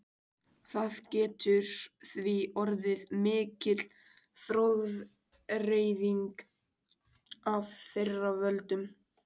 Það getur því orðið mikil gróðureyðing af þeirra völdum.